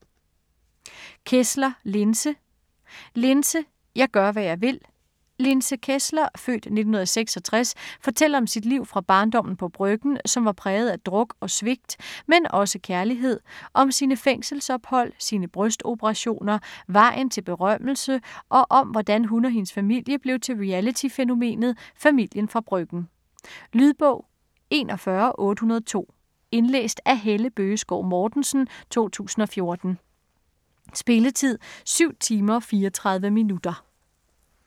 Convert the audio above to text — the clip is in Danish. Kessler, Linse: Linse - jeg gør, hvad jeg vil Linse Kessler (f. 1966) fortæller om sit liv fra barndommen på Bryggen, som var præget af druk og svigt, men også kærlighed. Om sine fængselsophold, sine brystoperationer, vejen til berømmelse, og om hvordan hun og hendes familie blev til reality-fænomenet "Familien fra Bryggen". Lydbog 41802 Indlæst af Helle Bøgeskov Mortensen, 2014. Spilletid: 7 timer, 34 minutter.